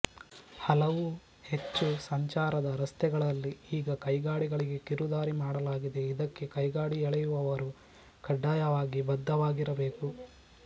ಹಲವು ಹೆಚ್ಚು ಸಂಚಾರದ ರಸ್ತೆಗಳಲ್ಲಿ ಈಗ ಕೈಗಾಡಿಗಳಿಗೆ ಕಿರುದಾರಿ ಮಾಡಲಾಗಿದೆ ಇದಕ್ಕೆ ಕೈಗಾಡಿಎಳೆಯುವವರು ಕಡ್ಡಾಯವಾಗಿ ಬದ್ಧವಾಗಿರಬೇಕು